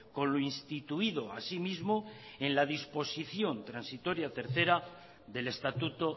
con lo instituido asimismo en la disposición transitoria tercera del estatuto